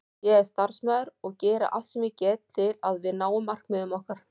Ég er starfsmaður og geri allt sem ég get til að við náum markmiðum okkar.